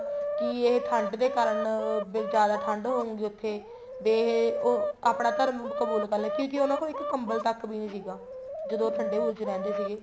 ਕੀ ਇਹ ਠੰਡ ਦੇ ਕਾਰਨ ਵੀ ਜਿਆਦਾ ਠੰਡ ਹੋਊਗੀ ਉੱਥੇ ਵੀ ਇਹ ਆਪਣਾ ਧਰਮ ਕਬੂਲ ਕਰ ਲੈਣਗੇ ਕਿਉਂਕਿ ਉਹਨਾ ਕੋਲ ਆਪਣਾ ਕੰਬਲ ਤੱਕ ਵੀ ਨਹੀਂ ਸੀਗਾ ਜਦੋਂ ਉਹ ਠੰਡੇ ਬੁਰਜ ਵਿੱਚ ਰਹਿੰਦੇ ਸੀਗੇ